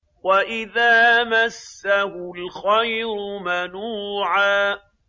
وَإِذَا مَسَّهُ الْخَيْرُ مَنُوعًا